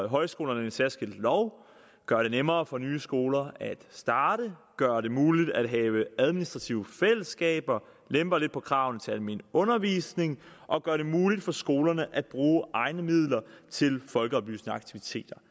højskolerne en særskilt lov gør det nemmere for nye skoler at starte gør det muligt at have administrative fællesskaber lemper lidt på kravene til almen undervisning og gør det muligt for skolerne at bruge egne midler til folkeoplysende aktiviteter